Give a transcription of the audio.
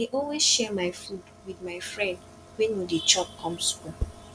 i dey always share my food wit my friend wey no dey chop come skool